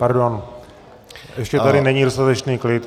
Pardon, ještě ale není dostatečný klid.